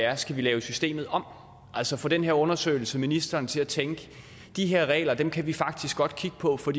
er skal vi lave systemet om altså får den her undersøgelse ministeren til at tænke de her regler kan kan vi faktisk godt kigge på for